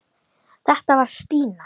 Þetta var Stína.